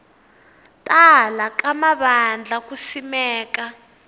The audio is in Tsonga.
tala ka mavandla ku simeka